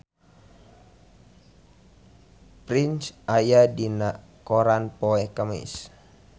Prince aya dina koran poe Kemis